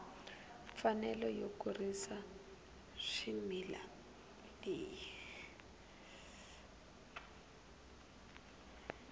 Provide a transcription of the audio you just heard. mfanelo yo kurisa swimila leyi